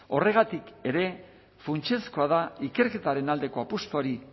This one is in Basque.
horregatik ere funtsezkoa da ikerketaren aldeko apustuari